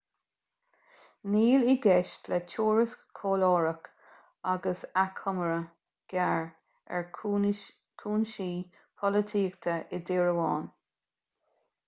níl i gceist le tuairisc chomhairleach ach achoimre ghearr ar chúinsí polaitíochta i dtír amháin